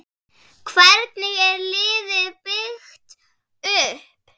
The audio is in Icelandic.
Hvernig er liðið byggt upp?